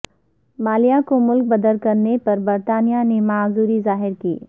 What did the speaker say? مالیہ کو ملک بدر کرنے پر برطانیہ نے معذوری ظاہر کی